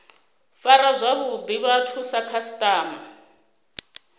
fara zwavhuḓi vhathu sa khasiṱama